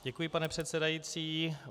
Děkuji, pane předsedající.